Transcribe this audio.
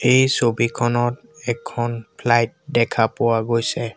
এই ছবিখনত এখন ফ্লাইট দেখা পোৱা গৈছে।